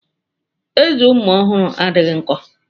Ezé ụmụ ọhụrụ adịghị nkọ.